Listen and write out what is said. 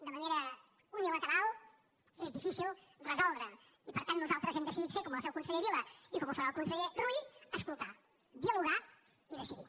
de manera unilateral és difícil resoldre ho i per tant nosaltres hem decidit fer com ho va fer el conseller vila i com ho farà el conseller rull escoltar dialogar i decidir